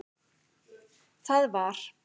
Það var